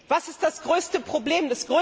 Was ist das größte Problem?